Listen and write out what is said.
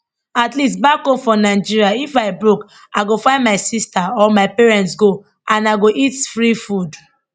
at least back home for nigeria if i broke i go find my sister or my parents go and i go eat free food